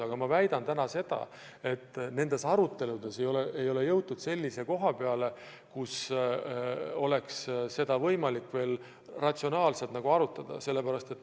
Aga ma väidan täna seda, et nendes aruteludes ei ole jõutud selleni, et oleks võimalik seda ratsionaalselt arutada.